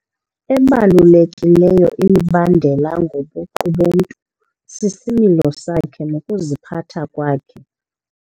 Ebalulekileyo imibandela ngobuqu bomntu sisimilo sakhe nokuziphatha kwakhe.